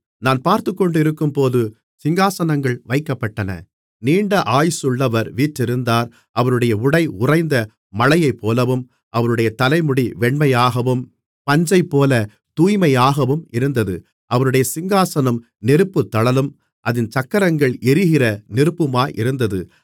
நான் பார்த்துக்கொண்டிருக்கும்போது சிங்காசனங்கள் வைக்கப்பட்டன நீண்ட ஆயுசுள்ளவர் வீற்றிருந்தார் அவருடைய உடை உறைந்த மழையைப்போலவும் அவருடைய தலைமுடி வெண்மையாகவும் பஞ்சைப்போல தூய்மையாகவும் இருந்தது அவருடைய சிங்காசனம் நெருப்புத் தழலும் அதின் சக்கரங்கள் எரிகிற நெருப்புமாயிருந்தது